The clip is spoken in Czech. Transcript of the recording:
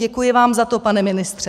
Děkuji vám za to, pane ministře.